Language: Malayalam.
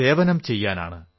സേവനം ചെയ്യാനാണ്